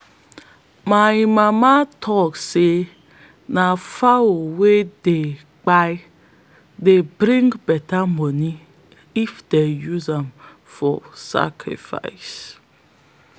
my mama tok say na fowl wey dey kampe dey bring beta money if them use am for sacrifice.